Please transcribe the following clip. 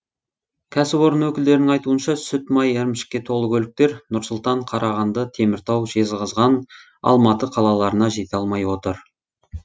кәсіпорын өкілдерінің айтуынша сүт май ірімшікке толы көліктер нұр сұлтан қарағанды теміртау жезқазған алматы қалаларына жете алмай отыр